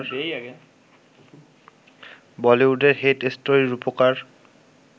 বলিউডের ‘হেট স্টোরি’র রুপকার